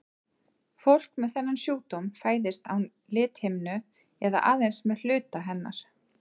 Fólk með þennan sjúkdóm fæðist án lithimnu eða aðeins með hluta hennar.